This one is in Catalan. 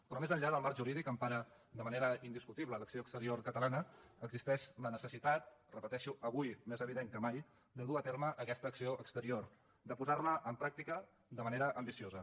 però més enllà del mac jurídic que empara de manera indiscutible l’acció exterior catalana existeix la necessitat ho repeteixo avui més evident que mai de dur a terme aquesta acció exterior de posar la en pràctica de manera ambiciosa